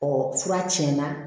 fura tiɲɛna